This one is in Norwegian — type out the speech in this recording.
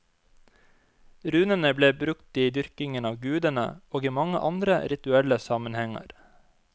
Runene ble brukt i dyrkingen av gudene, og i mange andre rituelle sammenhenger.